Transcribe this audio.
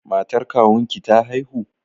Matar kawunki ta haihu?